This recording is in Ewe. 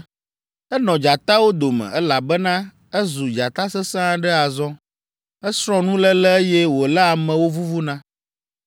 Enɔ dzatawo dome, elabena ezu dzata sesẽ aɖe azɔ. Esrɔ̃ nuléle, eye wòléa amewo vuvuna.